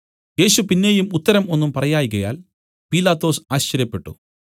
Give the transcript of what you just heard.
യേശു പിന്നെയും ഉത്തരം ഒന്നും പറയായ്കയാൽ പീലാത്തോസ് ആശ്ചര്യപ്പെട്ടു